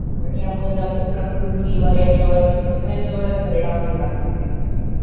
करण यामुळे जरा प्रकृतीवर याच्यावर सगळ्या याच्यावर परिणाम होऊ लागलाय.